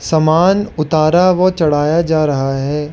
समान उतारा व चढ़ाया जा रहा है।